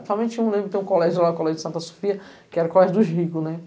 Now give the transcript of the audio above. Principalmente, eu não lembro, tem um colégio lá, o colégio de Santa Sofia, que era o colégio dos ricos, né?